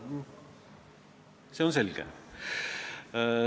See on selge.